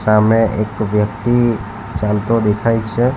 સામે એક વ્યક્તિ ચાલતો દેખાય છે.